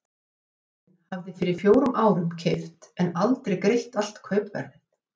Seljandinn hafði fyrir fjórum árum keypt en aldrei greitt allt kaupverðið.